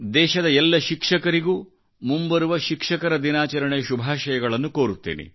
ದೇಶದ ಎಲ್ಲ ಶಿಕ್ಷಕರಿಗೂ ಮುಂಬರುವ ಶಿಕ್ಷಕರ ದಿನಾಚರಣೆಶುಭಾಷಯಗಳನ್ನು ಕೋರುತ್ತೇನೆ